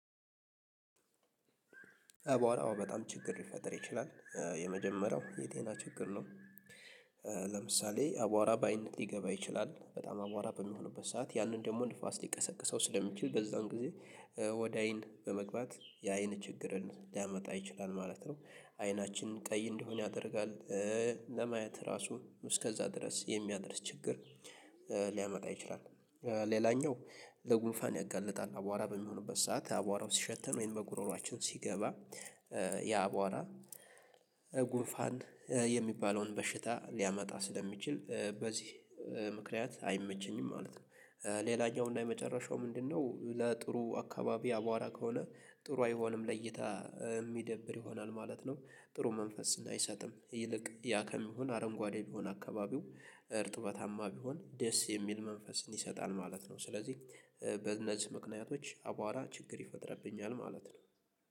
በኋላ አዎ በጣም ችግር ሊፈጥር ይችላል። የመጀመሪያው የጤና ችግር ነው። ለምሳሌ አቧራ በአይነት ሊገባ ይችላል በጣም አቧራ በሚሆኑበት ሰዓት ያንን ደግሞ ንፋስ ሊቀሰቅሰው ስለሚችል በዛን ጊዜ ወደ አይን በመግባት የአይን ችግርን ሊያመጣ ይችላል ማለት ነው። አይናችን ቀይ እንዲሆን ያደርጋል። ለማየት ራሱ እስከዛ ድረስ የሚያደርስ ችግር። ሊያመጣ ይችላል። ሌላኛው ለጉንፋን ያጋልጣል አቧራ በሚሆንበት ሰዓት አቧራውን ሲሸተን ወይም በጉሮሮአችን ሲገባ ያ አቧራ ጉንፋን የሚባለውን በሽታ ሊያመጣ ስለሚችል በዚህ ምክንያት አይመቸኝም ማለት ነው። ሌላኛው እና የመጨረሻው ምንድን ነው? ለጥሩ አካባቢ አቧራ ከሆነ ጥሩ አይሆንም ለእይታ የሚደብር ይሆናል ማለት ነው። ጥሩ መንፈስ አይሰጥም ይልቅ ያ ከሚሆን አረንጓዴ ቢሆን አካባቢው እርጥበታማ ቢሆን ደስ የሚል መንፈስን ይሰጣል ማለት ነው። ስለዚህ በእነዚህ ምክንያቶች አቧራ ችግር ይፈጥርብኛል ማለት ነው